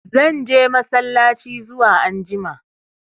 Zan je massalaci zuwa anjima.